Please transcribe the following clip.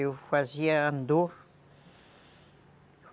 Eu fazia andor.